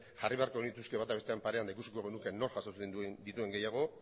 jarri beharko genituzke bata bestearen parean eta ikusiko genuke nork jasotzen dituen gehiago